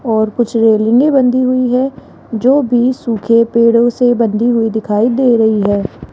और कुछ रेलिंगे भी बंधी हुई है जो भी सूखे पेड़ों से बंधी हुई दिखाई दे रही है।